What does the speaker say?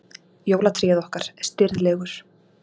Jólatréð okkar, stirðlegur